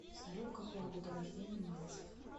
салют какого года рождения мальцев